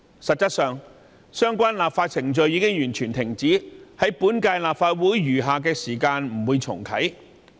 實際上，相關修例程序已經完全停止，不會在本屆立法會的餘下任期重啟。